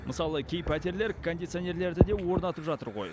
мысалы кей пәтерлер кондиционерлерді де орнатып жатыр ғой